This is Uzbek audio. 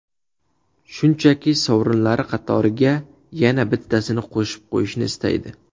Shunchaki, sovrinlari qatoriga yana bittasini qo‘shib qo‘yishni istaydi.